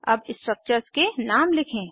अब स्ट्रक्चर्स के नाम लिखें